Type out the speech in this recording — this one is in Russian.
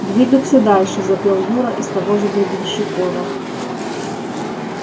двигаться дальше запел юра из того же гребенщикова